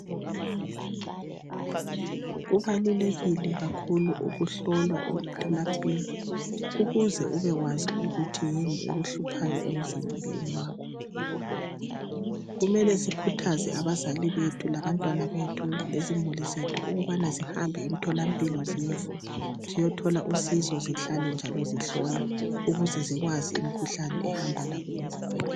Kubalulekile kakhulu ukuhlolwa emtholampilo ukuze ubekwazi ukuthi yini ekuhluphayo emzimbeni wakho. Kumele sikhuthaze abazali bethu labantwana bethu lezimuli zethu ukubana zihambe emtholampilo ziyethola usizo zihlale njalo zihlola ukuze zikwazi imkhuhlane ehamba labo ezimpilweni .